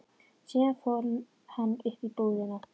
Síðan fór hann upp í íbúðina.